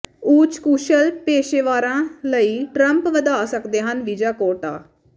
ਉੱਚ ਕੁਸ਼ਲ ਪੇਸ਼ੇਵਰਾਂ ਲਈ ਟਰੰਪ ਵਧਾ ਸਕਦੇ ਹਨ ਵੀਜ਼ਾ ਕੋਟਾ